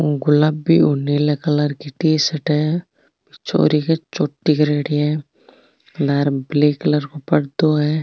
गुलाबी और नीले कलर की टी-शर्ट है छोरी के चोटी करेड़ी है लारे ब्लैक कलर को पर्दो है।